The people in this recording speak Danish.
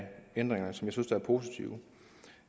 ændringerne som jeg synes er positive